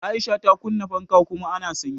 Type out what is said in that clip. Aisha ta Kunna fanka kuma a na sanyi.